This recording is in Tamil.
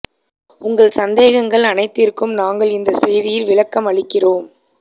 உங்கள் சந்தேகங்கள் அனைத்திற்கும் நாங்கள் இந்த செய்தியில் விளக்கம் அளிக்கிறோம்